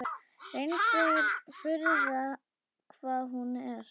Reyndar furða hvað hún er.